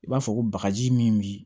I b'a fɔ ko bakaji min bi